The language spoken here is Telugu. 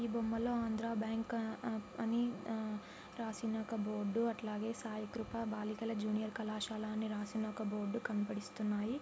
ఈ బొమ్మ లో ఆంధ్ర బ్యాంకు రాసి ఉన్న బోర్డ్ అట్లగే సాయి కృప బాలికల జూనియర్ కళాశాల అని ఒక బోర్డు కనబడిస్తున్నాయి.